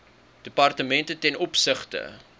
departemente ten opsigte